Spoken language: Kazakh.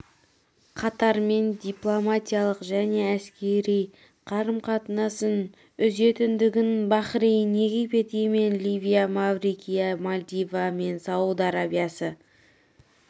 қатармен дипломатиялық және әскери қарым-қатынасын үзетіндігін бахрейн египет йемен ливия маврикия мальдива мен сауд арабиясы